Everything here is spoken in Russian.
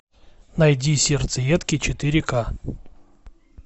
найди сердцеедки четыре ка